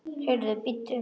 Heyrðu, bíddu nú.